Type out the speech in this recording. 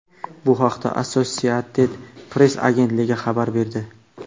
Bu haqda Associated Press agentligi xabar berdi .